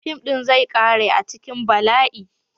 Fim din zai kare a cikin bala'i.